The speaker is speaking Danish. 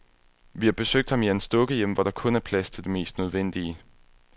Vi har besøgt ham i hans dukkehjem, hvor der kun er plads til det mest nødvendige.